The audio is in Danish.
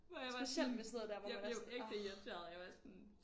Hvor jeg bare sådan jeg blev ægte irriteret jeg var sådan